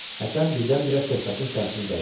Həsən birdən-birə söhbətin səmtini dəyişdi.